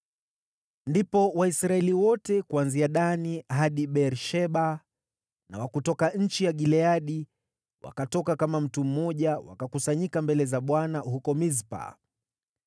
Ndipo Waisraeli wote kuanzia Dani hadi Beer-Sheba na wa kutoka nchi ya Gileadi wakatoka kama mtu mmoja wakakusanyika mbele za Bwana huko Mispa.